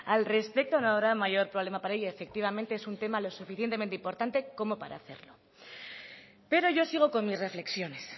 al respecto no habrá mayor problema para ello efectivamente es un tema lo suficientemente importante como para hacerlo pero yo sigo con mis reflexiones